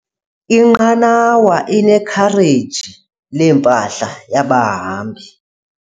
Inqanawa inekhareji lempahla yabahambi.